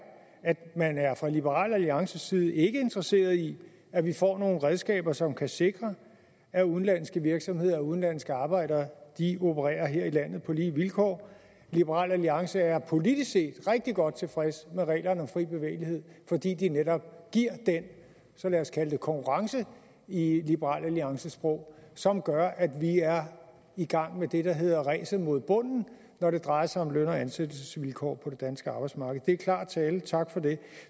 at man fra liberal alliances side ikke er interesseret i at vi får nogle redskaber som kan sikre at udenlandske virksomheder og udenlandske arbejdere opererer her i landet på lige vilkår liberal alliance er politisk set rigtig godt tilfreds med reglerne om fri bevægelighed fordi de netop giver den så lad os kalde det konkurrence i i liberal alliances sprog som gør at vi er i gang med det der hedder ræset mod bunden når det drejer sig om løn og ansættelsesvilkår på det danske arbejdsmarked det er klar tale tak for det